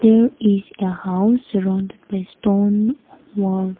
there is a house surround with your stone wall.